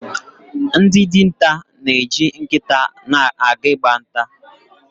Ndị dinta na-eji nkịta aga Ị gba nta.